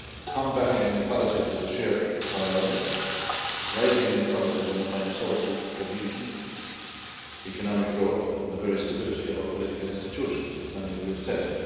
Combating inequalities is a shared priority. Rising inequalities undermine social cohesion, economic growth and the very stability of our political institutions, as many of you said.